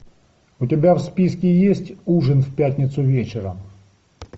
у тебя в списке есть ужин в пятницу вечером